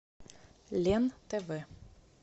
лен тв